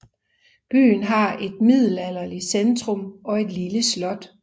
Byen har et middelalderlig centrum og et lille slot